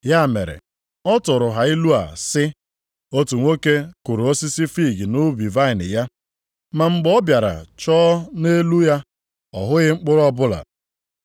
Ya mere, ọ tụụrụ ha ilu a sị, “Otu nwoke kụrụ osisi fiig nʼubi vaịnị ya, ma mgbe ọ bịara chọọ nʼelu ya, ma ọ hụghị mkpụrụ ọbụla.